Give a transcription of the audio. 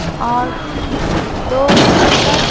और दो स्पीकर --